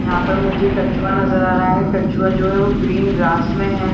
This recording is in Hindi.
यहाँ पर मुझे कछुआ नजर आ रहा है कछुआ जो है वो ग्रीन ग्रास में है।